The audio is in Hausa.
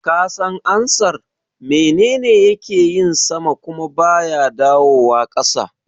Ka san ansar "Menene yake yin sama kuma baya dawowa ƙasa"?